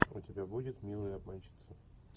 у тебя будет милые обманщицы